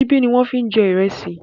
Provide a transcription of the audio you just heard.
Ṣíbí ni wọ́n ń fi jẹ ìrẹsì.